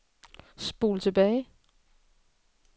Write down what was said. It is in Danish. spol tilbage